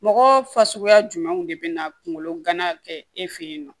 Mɔgɔ fasuguya jumɛnw de bɛ na kungolo gana kɛ e fɛ yen nɔ